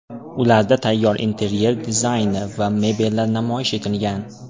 Ularda tayyor interyer dizayni va mebellar namoyish etilgan.